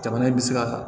Jamana bɛ se ka